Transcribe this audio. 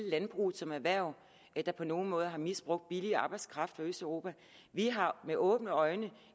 landbruget som erhverv der på nogen måde har misbrugt billig arbejdskraft fra østeuropa vi har med åbne øjne